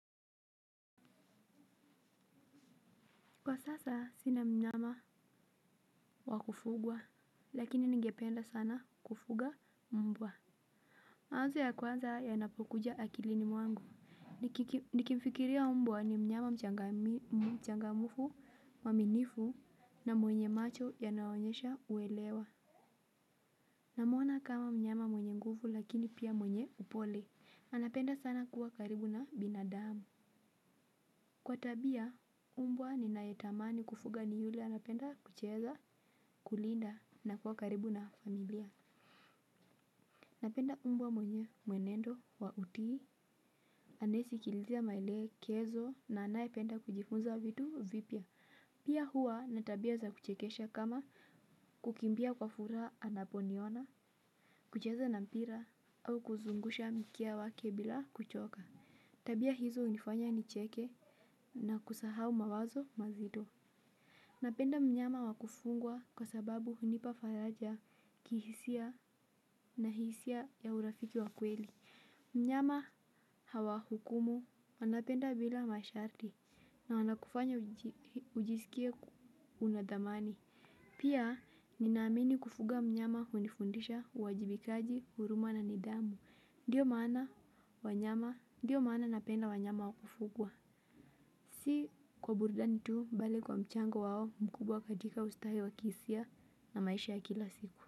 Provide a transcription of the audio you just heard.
Kwa sasa sina mnyama wakufugwa, lakini ningependa sana kufuga mbwa. Mawazo ya kwanza ya napokuja akilini mwangu, nikimfikiria mbwa ni mnyama mchangamufu mwa minifu na mwenye macho ya nayoonyesha uelewa. Namwona kama mnyama mwenye nguvu lakini pia mwenye upole, anapenda sana kuwa karibu na binadamu. Kwa tabia umbwa ni nayetamani kufuga ni yule anapenda kucheza kulinda na kuwa karibu na familia. Napenda umbwa mwenye mwenendo wa utii. Anesikilizia maele kezo na anaye penda kujifunza vitu vipia. Pia huwa natabia za kuchekesha kama kukimbia kwa furaha anaponiona. Kucheza na mpira au kuzungusha mkia wake bila kuchoka. Tabia hizo unifanya nicheke na kusahau mawazo mazito. Napenda mnyama wakufungwa kwa sababu hunipa falaja kihisia na hisia ya urafiki wakweli. Mnyama hawahukumu wanapenda bila masharti na wanakufanya ujiskie unadhamani. Pia ninaamini kufuga mnyama hunifundisha, uwajibikaji, huruma na nidhamu. Ndiyo maana wanyama, ndiyo maana napenda wanyama wakufugwa. Si kwa burudanitu mbali kwa mchango wao mkubwa katika ustahe wa kihisia na maisha ya kila siku.